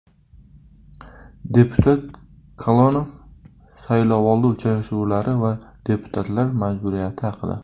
Deputat Kalonov saylovoldi uchrashuvlari va deputatlar majburiyati haqida.